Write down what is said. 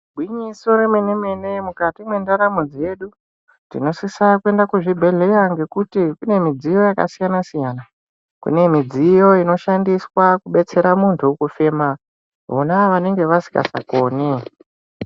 Igwinyiso remene-mene mukati mendaramo dzedu tinosisa kuenda kuzvibhedhlera ngekuti kune midziyo yakasiyana-siyana. Kune midziyo inoshandiswa kubetsera muntu kufema vona vanenge vasisakoni.